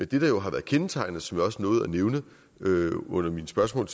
det der jo har været kendetegnende og som jeg også nåede at nævne under mine spørgsmål